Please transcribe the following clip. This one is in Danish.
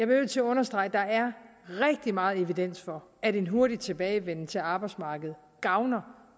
nødt til at understrege at der er rigtig meget evidens for at en hurtig tilbagevenden til arbejdsmarkedet gavner